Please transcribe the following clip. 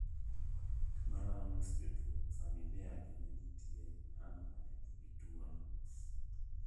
Malao nus jotuo, familia gi nitie ng'ano maneni gi tuo no